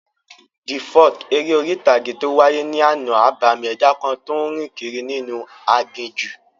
The folk eré orí-ìtàgé tó wáyé ní àná, abàmì ẹ̀dá kan tó n rìn kiri inú aginjù